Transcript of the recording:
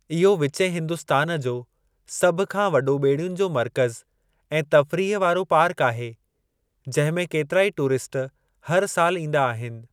इहो विचें हिन्दुस्तान जो सभ खां वॾो ॿेड़ियुन जो मर्कज़ु ऐं तफ़रीह वारो पार्क आहे जंहिं में केतिराई टूरिस्ट हर सालु ईंदा आहिनि।